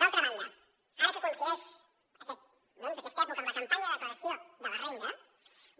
d’altra banda ara que coincideix doncs aquesta època amb la campanya de declaració de la renda